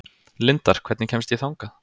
Lindar, hvernig kemst ég þangað?